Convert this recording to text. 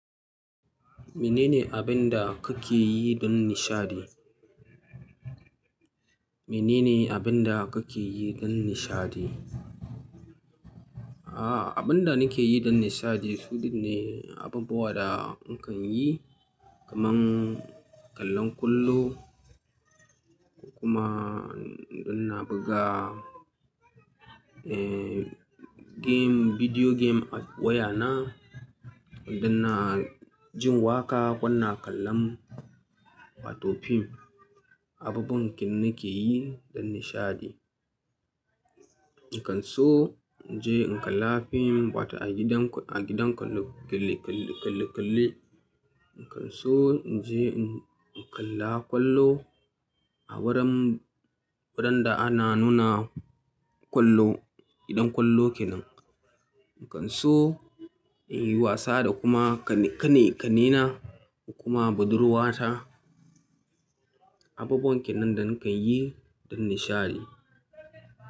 Menene abin da kake yi don nishaɗi? Menene abin da kake yi don nishaɗi? Aaa, abin da nake yi don nishaɗi sudin ne abubuwa da nakan yi kaman kallon kwallo kuma don na buga, eh, game, bidiyo game a wayana, don na jin waƙa ko na kalla wato fim. Abubuwan ken nake yi don nishaɗi. Nakan so in je in kalla fim wata a gidan, a gidan kalle-kalle. Nakan so in je in kalla kwallo a wuran, wuran da ana nuna kwallo, gidan kwallo kenan. Nakan so in yi wasa da kuma ƙanne na da kuma budurwata. Abubuwan ken nan da nakan yi don nishaɗi.